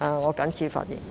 我謹此發言。